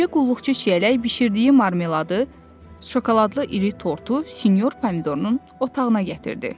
Gecə qulluqçu Çiyələk bişirdiyi marmeladı, şokoladlı iri tortu sinyor Pomidorunun otağına gətirdi.